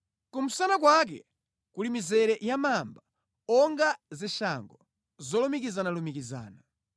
Kumsana kwake kuli mizere ya mamba onga zishango zolumikizanalumikizana;